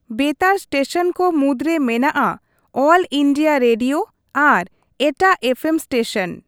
ᱵᱮᱛᱟᱨ station ᱠᱚ ᱢᱩᱫᱽᱨᱮ ᱢᱮᱱᱟᱜᱼᱟ ᱚᱞ ᱤᱱᱰᱤᱭᱟ ᱨᱮᱰᱤᱭᱳ ᱟᱨ ᱮᱴᱟᱜ ᱮᱯᱷᱮᱢ ᱥᱴᱮᱥᱚᱱ ᱾